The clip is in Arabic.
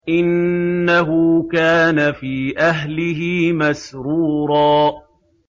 إِنَّهُ كَانَ فِي أَهْلِهِ مَسْرُورًا